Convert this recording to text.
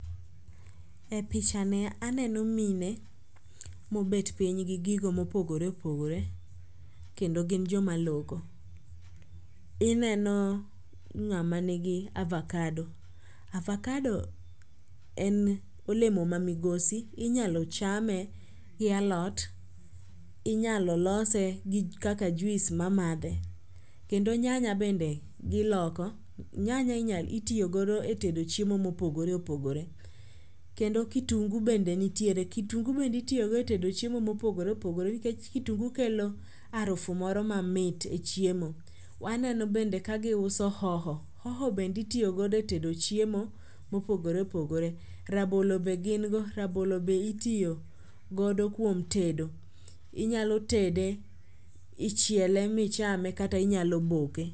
E picha ni aneno mine mobet piny gi gigo mopogore opogore kendo gin joma loko. Ineno ng'ama ni go avocado. Avocado en olemo ma migosi. Inyalo chame gi alot. Inyalo lose kaka juice mamadhe. Kendo nyanya bende goloko. Nyanya itiyogodo e tedo chiemo mopogore opogore. Kendo kitungu bende nitiere. Kitungu bende itiyogodo e tedo chiemo mopogore opogore. Nikech kitungu kelo arufu moro mamit e chiemo. Aneno ka bende giuso hoho. Hoho bende itiyogodo e tedo chiemo mopogore opogore. Rabolo be gin go. Rabolo be itiyogodo kuom tedo. Inyalo tede. Ichiele michame kata inyalo boke.